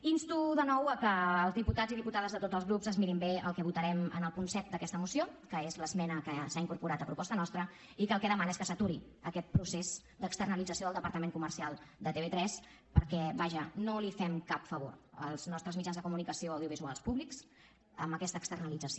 insto de nou que els diputats i diputades de tots els grups es mirin bé el que votarem el punt set d’aquesta moció que és l’esmena que s’ha incorporat a proposta nostra i que el que demana és que s’aturi aquest procés d’externalització del departament comercial de tv3 perquè vaja no els fem cap favor als nostres mitjans de comunicació audiovisuals públics amb aquesta externalització